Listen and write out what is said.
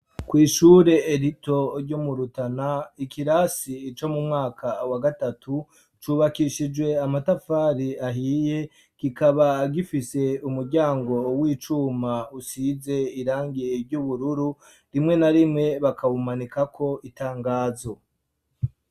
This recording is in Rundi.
Kw'ishure rito ryo mu Rutana, ikirasi co mu mwaka wa gatatu cubakishijwe amatafari ahiye, kikaba gifise umuryango w'icuma usize irangi ry'ubururu, rimwe na rimwe bakawumanikako itangazo.